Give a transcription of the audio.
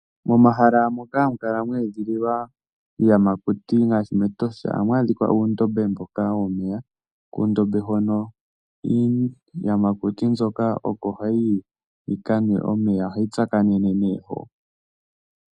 Momahala moka hamu kala mwe edhiliwa iiyamakuti ngaashi mEtosha ohamu adhika uundombe mboka womeya. Kuundombe hono iiyamakuti mbyoka oko hayi yi yi ka nwe omeya. Ohayi tsakanene nee hoka.